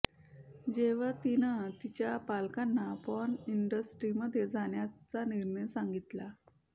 जेव्हा तिनं तिच्या पालकांना पॉर्न इंडस्ट्रीमध्ये जाण्याचा निर्णय सांगितला